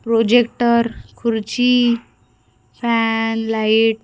projector खुर्ची fan light --